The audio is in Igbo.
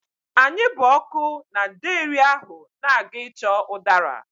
Anyị bụ ọkụ na ndeeri ahụ na-aga ịchọ ụdara.